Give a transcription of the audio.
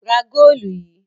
Ra góólù yìí!